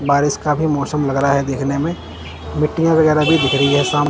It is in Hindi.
बारिश का भी मौसम लग रहा है देखने में मिट्टी वगैरह भी दिख रही है शाम--